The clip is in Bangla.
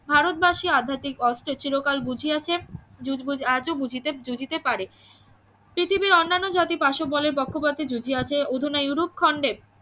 ভারতবাসী আধ্যাত্মিক অস্ত্রে চিরকাল বুঝিয়াছে জুজ বুঝ আজও বুঝিতে জুজিতে পারে পৃথিবীর অন্যান্য জাতি পাশবলে পক্ষপাতী জুজিয়াছে অধুনা ইউরোপ খণ্ডের